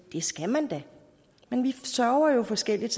det skal man da men vi sørger jo forskelligt